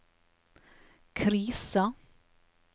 krisa